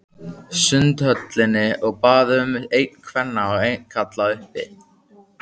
Sundhöllinni og bað um einn kvenna og einn karla, uppi.